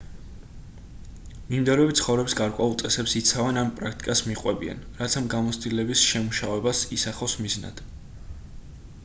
მიმდევრები ცხოვრების გარკვეულ წესებს იცავენ ან პრაქტიკას მიჰყვებიან რაც ამ გამოცდილების შემუშავებას ისახავს მიზნად